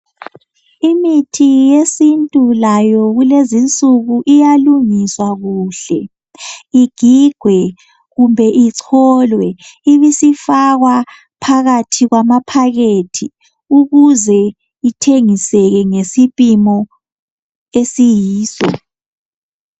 Imithi yesintu layo kulezinsuku iyalungiswa kuhle , igigwe kumbe icholwe ibisifakwa phakathi kwamaphakethi ukuze ithengiseke ngesipimo esiyiso